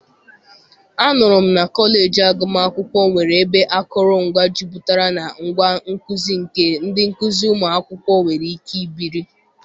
anụrụ m na kọleji agụmakwụkwọ nwere ebe akụrụngwa jupụtara na ngwa nkuzi nke ndị nkuzi ụmụ akwụkwọ nwere ike ibiri.